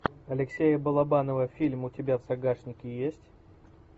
алексея балабанова фильм у тебя в загашнике есть